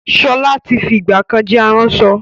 Sọlá tí fi ìgbàkan jẹ́ aránṣọ